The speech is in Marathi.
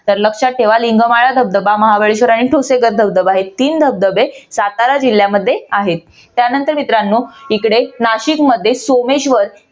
तर लक्षात ठेवा. लिंगमाळा धबधबा महाबळेश्वर आणि ठोसेघर धबधबा हे तीन धबधबे सातारा जिल्ह्यामध्ये आहेत. त्यानंतर मित्रानो इकडे नाशिक मध्ये सोमेश्वर